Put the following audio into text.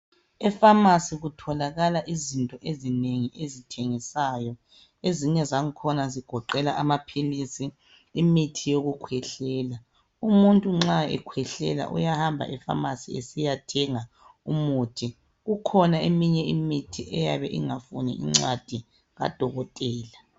EFamasi kutholakala izinto ezinengi ezithengiswayo, ezinye zangakhona zigoqela amaphilisi, imithi yokukhwehlela. Umuntu nxa ekhwehlela uyahamba eFamasi esiyathenga umuthi. Kukhona eminye imithi eyabe ingafuni incwadi kadokotela.